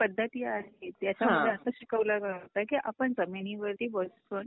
पद्धती आहेत यांच्यामध्ये असं शिकवलं जात कि आपण जमिनीवरती बसून